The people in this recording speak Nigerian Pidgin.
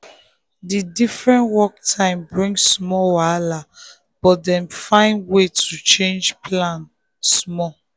the different work time bring small wahala but dem find way to change plan small.